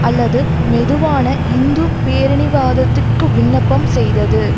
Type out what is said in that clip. அல்லது மெதுவான இந்து பேரினிவாதத்திற்கு விண்ணப்பம் செய்தது